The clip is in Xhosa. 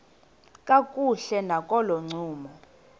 kakuhle nakolo ncumo